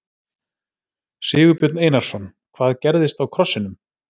Sigurbjörn Einarsson: Hvað gerðist á krossinum?